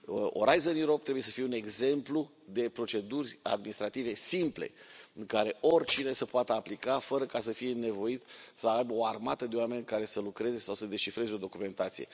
Orizont Europa trebuie să fie un exemplu de proceduri administrative simple, astfel încât oricine să poată aplica fără să fie nevoit să aibă o armată de oameni care să lucreze sau să descifreze o documentație.